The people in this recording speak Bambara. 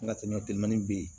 N ka teliman teminan be yen